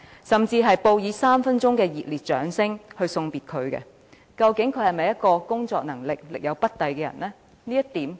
"，甚至報以3分鐘熱烈掌聲為她送別，究竟她的工作能力是否真的力有不逮？